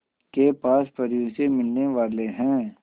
के पास परियों से मिलने वाले हैं